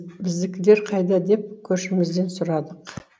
біздікілер қайда деп көршімізден сұрадық